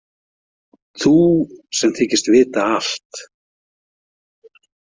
Þú sem þykist vita allt.